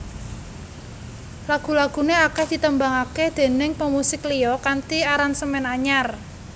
Lagu laguné akèh ditembangaké déning pemusik liya kanthi aransemen anyar